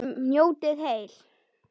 Njótið heil.